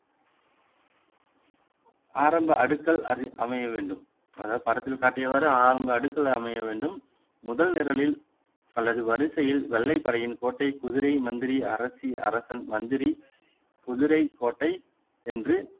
ஆரம்ப அடுக்கல் அமைய வேண்டும் அதாவது படத்தில் காட்டியவாறு ஆரம்ப அடுக்கல் அமைய வேண்டும் முதல் நிரலில் அல்லது வரிசையில் வெள்ளைப்படையின் கோட்டை குதிரை மந்திரி அரசி அரசன் மந்திரி குதிரை கோட்டை என்று